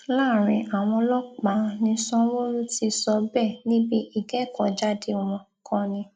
láàrin àwọn ọlọpàá ni sanwóoru ti sọ bẹẹ níbi ìkẹkọọjáde wọn kan ni